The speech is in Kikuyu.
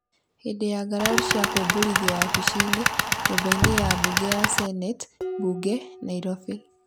hĩndĩ ya ngarari cia kũmbũrithio wabici-nĩ, nyũmba-inĩ ya mbunge ya Seneti, mbunge, Nairobi.